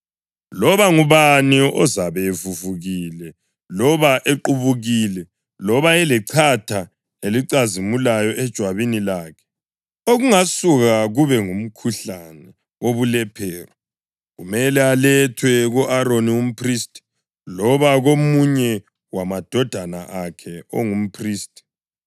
“Loba ngubani ozabe evuvukile, loba equbukile, loba elechatha elicazimulayo ejwabini lakhe okungasuka kube ngumkhuhlane wobulephero, kumele alethwe ku-Aroni umphristi loba komunye wamadodana akhe ongumphristi.